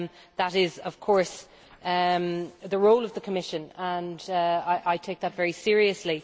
That is, of course, the role of the Commission, and I take that very seriously.